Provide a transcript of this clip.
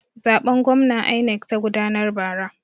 Zaben gwamna INEC ta gudanar bara.